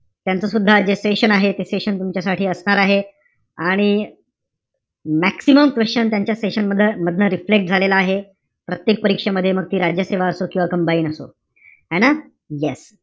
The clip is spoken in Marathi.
त्यांचं सुद्धा आज जे session आहे. ते session तुमच्यासाठी असणार आहे. आणि maximum question त्यांच्या session मध~ मधनं reflect झालेला आहे. प्रत्येक परीक्षेमध्ये मग ती राज्यसेवा असो किंवा combined असो. है ना? Yes